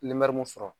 mun sɔrɔ